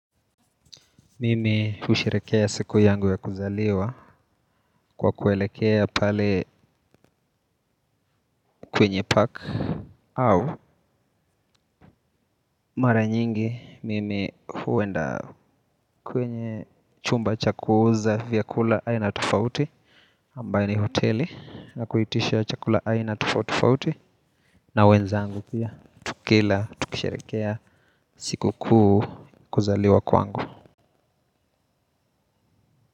Mimi husherehekea siku yangu ya kuzaliwa kwa kuelekea pale kwenye park au mara nyingi mimi huenda kwenye chumba cha kuuza vyakula aina tofauti ambayo ni hoteli na kuitisha chakula aina tofauti tofauti na wenzangu pia tukila tukisherehekea sikukuu kuzaliwa kwangu.